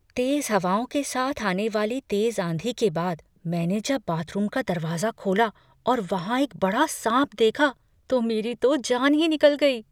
तेज हवाओं के साथ आने वाली तेज आंधी के बाद, मैंने जब बाथरूम का दरवाजा खोला और वहाँ एक बड़े सांप देखा तो मेरी तो जान ही निकल गई।